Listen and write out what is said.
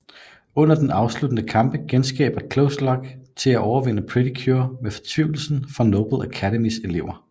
Under den afsluttende kamp genskaber Close Lock til at overvinde Pretty Cure med fortvivlelsen fra Noble Academys elever